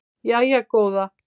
Jæja góða